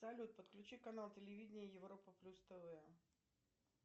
салют подключи канал телевидение европа плюс тв